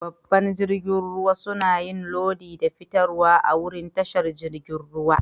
Babban jirigin ruwa suna yin lodi da fitarwa a'wurin tashar jirigin ruwa.